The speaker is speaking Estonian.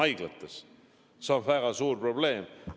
See oleks väga suur probleem.